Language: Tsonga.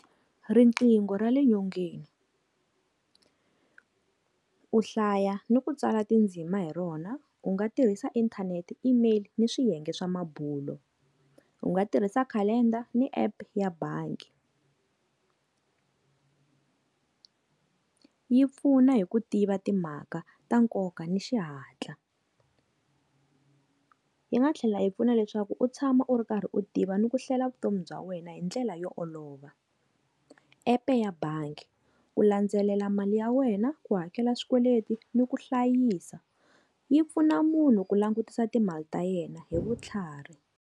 Riqingho ra le nyongeni u hlaya ni ku tsala tindzima hi rona u nga tirhisa inthanete, email ni swiyenge swa mabulo u nga tirhisa calender ni Epu ya bangi yi pfuna hi ku tiva timhaka ta nkoka ni xihatla yi nga tlhela yi pfuna leswaku u tshama u ri karhi u tiva ni ku hlwela vutomi bya wena hi ndlela yo olova. App-e ya bangi ku landzelela mali ya wena ku hakela swikweleti ni ku hlayisa yi pfuna munhu ku langutisa timali ta yena hi vutlhari.